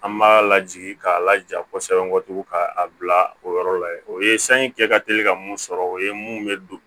An b'a lajigin k'a laja kosɛbɛ k'a bila o yɔrɔ la ye o ye sanji kɛ ka teli ka mun sɔrɔ o ye mun bɛ don